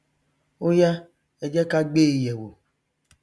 óyá ẹ jẹ ká gbé e yẹwò